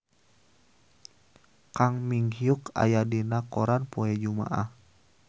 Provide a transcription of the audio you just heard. Kang Min Hyuk aya dina koran poe Jumaah